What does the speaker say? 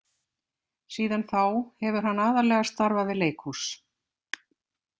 Síðan þá hefur hann aðallega starfað við leikhús.